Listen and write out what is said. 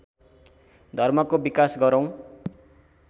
धर्मको विकास गरौँ